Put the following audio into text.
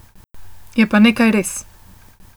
Je pa nekaj res.